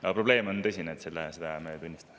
Aga probleem on tõsine, seda me tunnistame.